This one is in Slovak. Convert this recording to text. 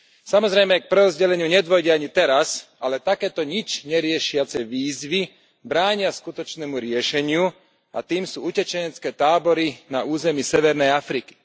Samozrejme, k prerozdeleniu nedôjde ani teraz, ale takéto nič neriešiace výzvy bránia skutočnému riešeniu, a tým sú utečenecké tábory na území severnej Afriky.